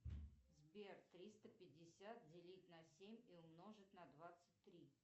сбер триста пятьдесят делить на семь и умножить на двадцать три